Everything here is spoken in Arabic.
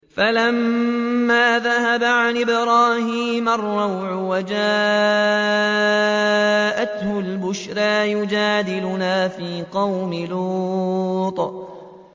فَلَمَّا ذَهَبَ عَنْ إِبْرَاهِيمَ الرَّوْعُ وَجَاءَتْهُ الْبُشْرَىٰ يُجَادِلُنَا فِي قَوْمِ لُوطٍ